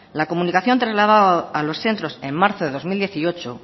la comunicación trasladada a los centros en marzo de dos mil dieciocho